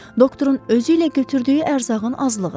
Doktorun özü ilə götürdüyü ərzağın azlığı.